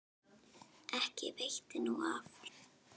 Ekki veitti nú af.